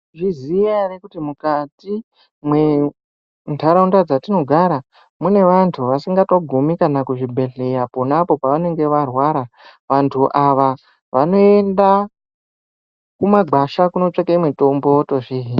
Mwaizviziva here kuti mukati mwendaraunda dzatinogara mune vantu vasingatogumi kuzvibhedhleya ponapo pavanenge varwara, vantu ava vanoenda kumagwasha kunotsvake mutombo votozvihina.